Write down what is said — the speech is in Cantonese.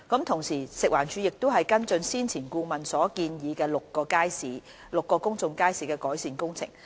同時，食環署正跟進先前顧問所建議於6個公眾街市的改善工程。